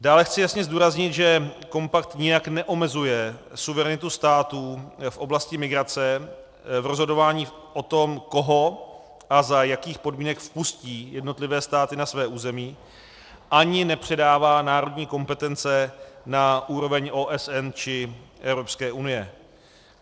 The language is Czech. Dále chci jasně zdůraznit, že kompakt nijak neomezuje suverenitu států v oblasti migrace v rozhodování o tom, koho a za jakých podmínek vpustí jednotlivé státy na své území, ani nepředává národní kompetence na úroveň OSN či EU.